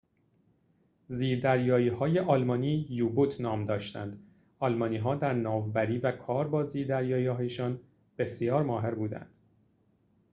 زیردریایی‌های آلمانی یو-بوت نام داشتند آلمان‌ها در ناوبری و کار با زیردریایی‌هایشان بسیار ماهر بودند